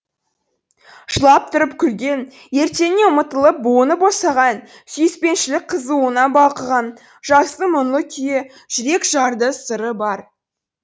жылап тұрып күлген ертеңіне ұмытылып буыны босаған сүйіспеншілік қызуына балқыған жастың мұңлы күйі жүрек жарды сыры бар